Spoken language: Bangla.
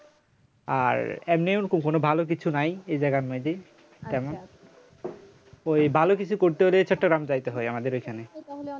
আর এমনি ওরকম কোনো ভালো কিছু নাই এই জায়গার মধ্যে তেমন ওই ভালো কিছু করতে হলে চট্টগ্রাম যাইতে হয় আমাদের ওইখানে